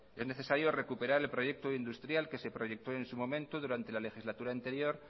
es necesario recuperar el proyecto industrial que se proyectó en su momento durante la legislatura anterior